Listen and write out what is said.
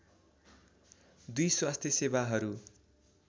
२ स्वास्थ्य सेवाहरू